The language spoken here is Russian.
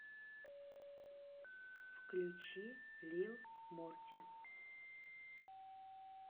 включи лил морти